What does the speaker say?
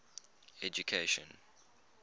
education